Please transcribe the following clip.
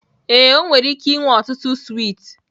Ee, ọ nwere ike inwe ọtụtụ swiiti